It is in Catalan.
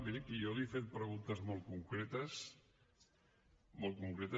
miri que jo li he fet preguntes molt concretes molt concretes